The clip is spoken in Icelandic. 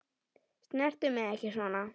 Snertu mig ekki svona.